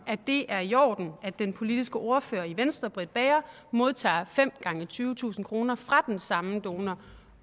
at det er i orden at den politiske ordfører i venstre fru britt bager modtager fem gange tyvetusind kroner fra den samme donor